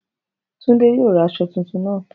Tunde yoo ra aso tuntun naa.